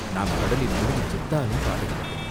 நாம் கடலில் முழுகிச் செத்தாலும் பாதகமில்லை.